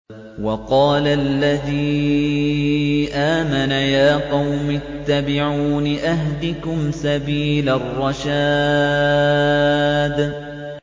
وَقَالَ الَّذِي آمَنَ يَا قَوْمِ اتَّبِعُونِ أَهْدِكُمْ سَبِيلَ الرَّشَادِ